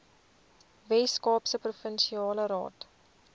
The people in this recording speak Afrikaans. weskaapse provinsiale raad